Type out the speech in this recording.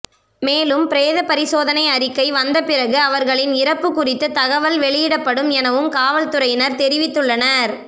மேலும் பிரேத பரிசோதனை அறிக்கை வந்த பிறகு அவர்களின் இறப்பு குறித்து தகவல் வெளியிடப்படும் எனவும் காவல்துறையினர் தெரிவித்துள்ளனர்